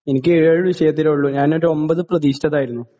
എനിക്ക് ഏഴ് വിഷയത്തിലെ ഉള്ളൂ, ഞാനൊരു ഒൻപത് പ്രതീക്ഷിച്ചതായിരുന്നു.